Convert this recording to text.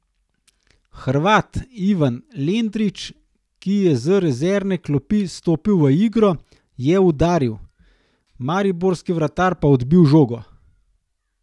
Hrvat Ivan Lendrić, ki je z rezervne klopi stopil v igro, je udaril, mariborski vratar pa odbil žogo.